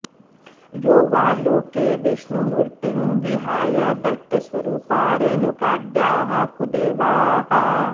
यो वा लोके विष्णुमूर्तिं विहाय दैत्यस्वरूपा रेणुकाद्याः कुदेवाः